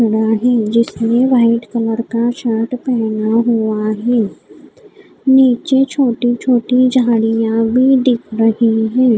जिसने white colour का shirt पहना हुआ है नीचे छोटे छोटे झाड़ियाँ भी दिख रही हैं।